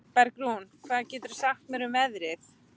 Bergrún, hvað geturðu sagt mér um veðrið?